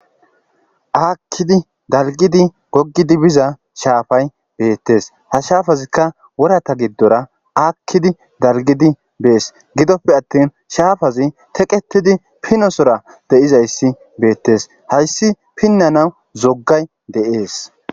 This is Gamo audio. aakkidi dalgidi gogidi biza shaafay beettes ha shafazikka worata giddora akkidi dalgidi bees gidoppe attin shaafazi teqetidi pinosora deizayssi beettes hayssi pinnanaw zokkay deees